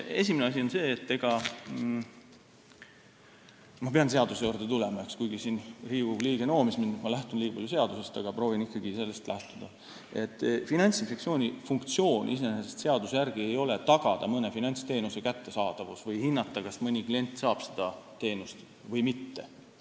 Esimene asi on see – ma pean seaduse juurde tulema, kuigi siin Riigikogu liige noomis mind, et ma lähtun liiga palju seadusest, aga proovin ikkagi sellest lähtuda –, et Finantsinspektsiooni funktsioon seaduse järgi iseenesest ei ole tagada mõne finantsteenuse kättesaadavus või hinnata, kas mõni klient saab seda teenust või mitte.